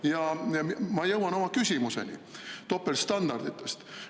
Ja ma jõuan oma küsimuseni topeltstandarditest.